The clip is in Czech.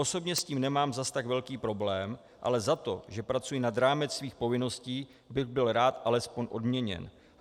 Osobně s tím nemám zase tak velký problém, ale za to, že pracuji nad rámec svých povinností, bych byl rád alespoň odměněn.